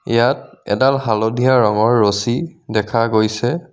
ইয়াত এডাল হালধীয়া ৰঙৰ ৰচি দেখা গৈছে.